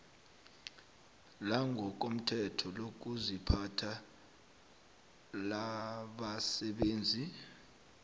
langokomthetho lokuziphatha labasebenzi